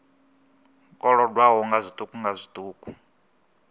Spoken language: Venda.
kolodwaho nga zwiṱuku nga zwiṱuku